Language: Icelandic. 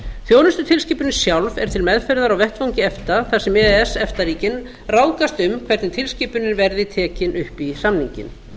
þjónustutilskipunin sjálf er til meðferðar á vettvangi efta þar sem e e s efta ríkin ráðskast um hvernig tilskipunin verði tekin upp í samninginn